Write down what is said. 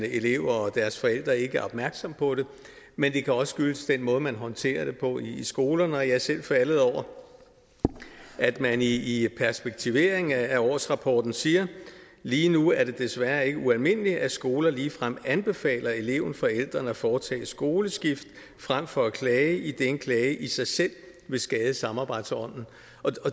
elever og deres forældre ikke er opmærksomme på det men det kan også skyldes den måde man håndterer det på i skolerne jeg er selv faldet over at man i i perspektiveringen af årsrapporten siger lige nu er det desværre ikke ualmindeligt at skoler ligefrem anbefaler elevenforældrene at foretage skoleskift frem for at klage idet en klage i sig selv vil skade samarbejdsånden